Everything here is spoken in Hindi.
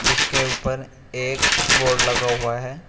जिसके ऊपर एक बोर्ड लगा हुआ है।